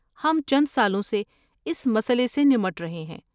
ہم چند سالوں سے اس مسئلے سے نمٹ رہے ہیں۔